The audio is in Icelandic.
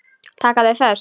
Taka þau föst?